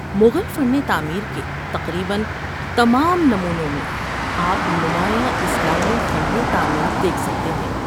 مغل فن تعمیر کے تقریباً تمام نمونوں میں آپ نمایاں اسلامی فن تعمیر دیکھ سکتے ہیں۔